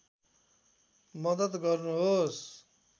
मद्दत गर्नुहोस्